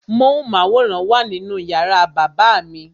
Móhùnmáwòrán wà nínú yàrá bàbá mi.